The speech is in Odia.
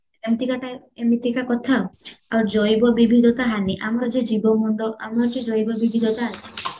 ଏମିତିକା type ଏମିତିକା କଥା ଆଉ ଆଉ ଜୈବ ବିବିଧତା ହାନି ଆମର ଯେ ଜୀବ ମଣ୍ଡଳ ଆମର ଯେ ଜୈବ ବିବିଧତା ଅଛି